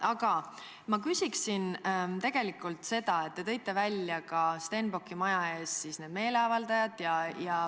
Aga ma küsin tegelikult selle kohta, et te tõite välja ka Stenbocki maja ees seisnud meeleavaldajad.